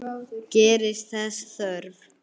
Gerist þess þörf.